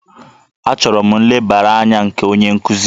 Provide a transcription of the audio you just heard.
Achọrọ m nlebara anya nke onye nkuzi